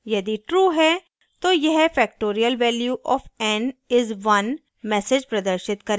यदि true है तो यह factorial value of n is 1 message प्रदर्शित करेगा